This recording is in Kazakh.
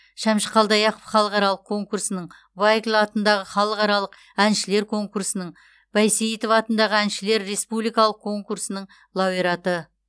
шәмші қалдаяқов халықаралық конкурсының вайкль атындағы халықаралық әншілер конкурсының байсейітова атындағы әншілердің республикалық конкурсының лауреаты